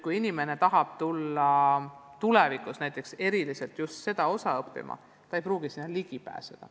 Kui inimene tahab tulla tulevikus just viipekeelt õppima, siis ta ei pruugi sinna ligi pääseda.